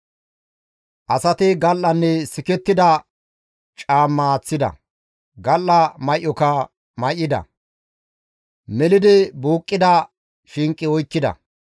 Asati gal7anne sikettida caamma aaththida; gal7a may7oka may7ida; melidi buuqqida shinqe oykkida.